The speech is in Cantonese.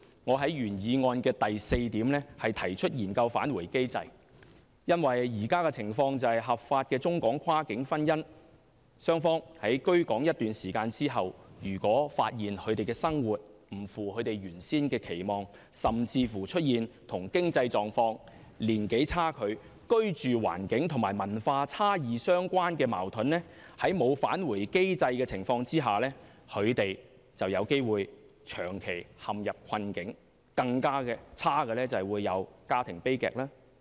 我在原議案的第四點提出研究"返回機制"，因為現時的情況是合法的中港跨境婚姻，雙方居港一段時間後，如果發現生活不符原先期望，甚至出現與經濟狀況、年齡差距、居住環境和文化差異相關的矛盾，在沒有"返回機制"的情況下，他們便有機會長期陷入困境，更差的是會發生家庭悲劇。